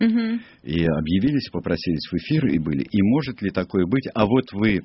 и объявились и попросились в эфир и были и может ли такое быть а вот вы